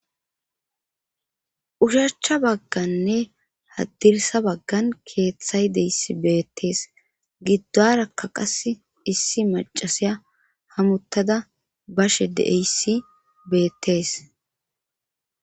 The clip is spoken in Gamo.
shachcha bagganne haddirsa baggan keeththay deyssi beettees giddoarakka qas issi macasiya hamuttada bashe deeyssi beettees